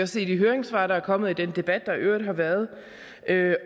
se i de høringssvar der er kommet og af den debat der i øvrigt har været